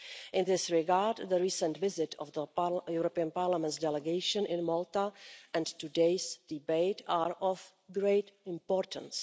In this regard, the recent visit of Parliament's delegation to Malta and today's debate are of great importance.